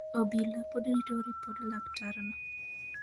Obila pod rito ripod laktarno.